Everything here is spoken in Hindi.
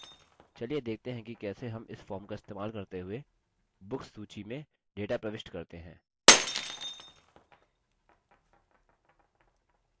चलिए देखते हैं कि कैसे हम इस form का इस्तेमाल करते हुए books सूची में data प्रविष्ट करते हैं